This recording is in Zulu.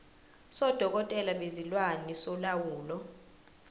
sodokotela bezilwane solawulo